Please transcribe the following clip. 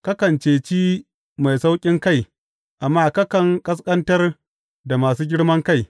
Kakan cece mai sauƙinkai amma kakan ƙasƙantar da masu girman kai.